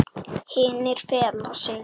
Hinir fela sig.